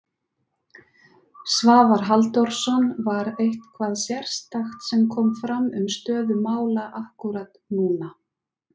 Svavar Halldórsson: Var eitthvað sérstakt sem kom fram um stöðu mála akkúrat núna?